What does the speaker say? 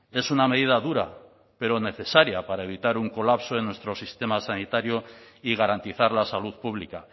es una medida dura pero necesaria para evitar un colapso de nuestro sistema sanitario y garantizar la salud pública